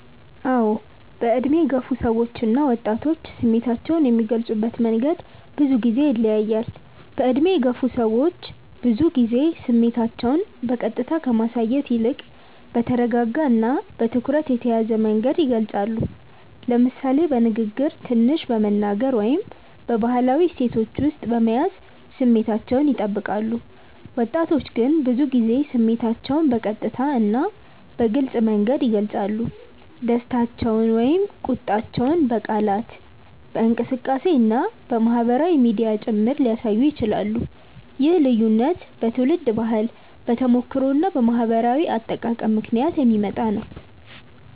አዎ፣ በዕድሜ የገፉ ሰዎች እና ወጣቶች ስሜታቸውን የሚገልጹበት መንገድ ብዙ ጊዜ ይለያያል። በዕድሜ የገፉ ሰዎች ብዙ ጊዜ ስሜታቸውን በቀጥታ ከማሳየት ይልቅ በተረጋጋ እና በትኩረት የተያዘ መንገድ ይገልጻሉ፤ ለምሳሌ በንግግር ትንሽ በመናገር ወይም በባህላዊ እሴቶች ውስጥ በመያዝ ስሜታቸውን ይጠብቃሉ። ወጣቶች ግን ብዙ ጊዜ ስሜታቸውን በቀጥታ እና በግልጽ መንገድ ይገልጻሉ፤ ደስታቸውን ወይም ቁጣቸውን በቃላት፣ በእንቅስቃሴ እና በማህበራዊ ሚዲያ ጭምር ሊያሳዩ ይችላሉ። ይህ ልዩነት በትውልድ ባህል፣ በተሞክሮ እና በማህበራዊ አጠቃቀም ምክንያት የሚመጣ ነው።